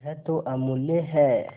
यह तो अमुल्य है